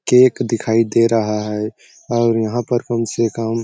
cake दिखाई दे रहा हैं और यहाँ पर कौन से काम--